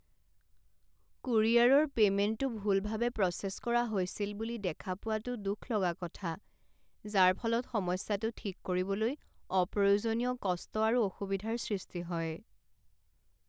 কুৰিয়াৰৰ পে'মেণ্টটো ভুলভাৱে প্ৰচেছ কৰা হৈছিল বুলি দেখা পোৱাটো দুখ লগা কথা, যাৰ ফলত সমস্যাটো ঠিক কৰিবলৈ অপ্ৰয়োজনীয় কষ্ট আৰু অসুবিধাৰ সৃষ্টি হয়।